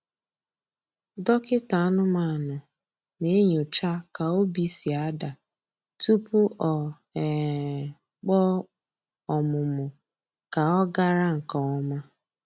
Dọkịta anụmanụ na-enyocha ka obi si ada tupu o um kpọọ ọmụmụ ka ọ gara nke ọma.